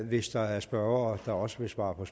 hvis der er spørgere der også vil svare på